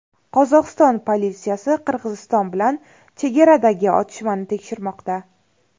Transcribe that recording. Qozog‘iston politsiyasi Qirg‘iziston bilan chegaradagi otishmani tekshirmoqda.